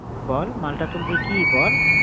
বল মালটা তুলবি কি বল?